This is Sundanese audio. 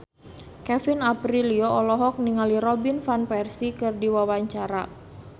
Kevin Aprilio olohok ningali Robin Van Persie keur diwawancara